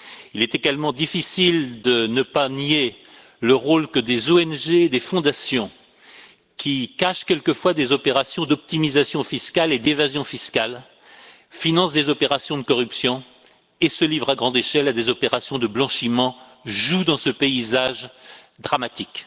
Il est également difficile de nier le rôle que des ONG, des fondations qui cachent quelquefois des opérations d'optimisation fiscale et d'évasion fiscale, financent des opérations de corruption et se livrent à grande échelle à des opérations de blanchiment jouent dans ce paysage dramatique.